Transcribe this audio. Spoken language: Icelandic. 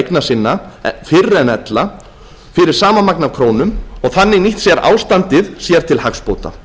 eigna sinna fyrr en ella fyrir sama magn af krónum og þannig nýtt ástandið sér til hagsbóta